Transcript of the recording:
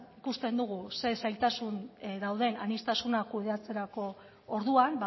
ikusten dugu zein zailtasun dauden aniztasuna kudeatzeko orduan